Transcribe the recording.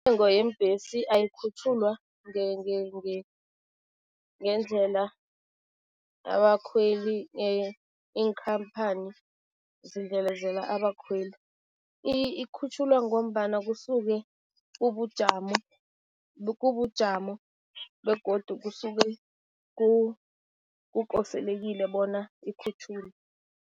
Yeembhesi ayikhutjhulwa ngendlela abakhweli, iinkhamphani zidlelezela abakhweli. Ikhutjhulwa ngombana kusuke ubujamo, kubujamo begodu kusuke kukoselekile bona ikhutjhulwe.